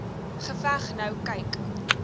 geveg nou kyk